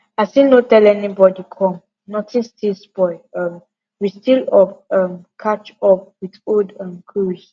as im no tell anybody come notin still spoil um we still up um catch up with old um cruise